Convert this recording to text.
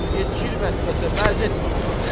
Yetişir vəsvəsə, vəz etmə ona.